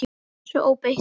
Svona óbeint.